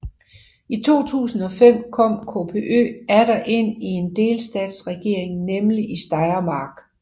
I 2005 kom KPÖ atter ind i en delstatsregering nemlig i Steiermark